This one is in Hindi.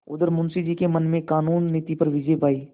उधर मुंशी जी के मन ने कानून से नीति पर विजय पायी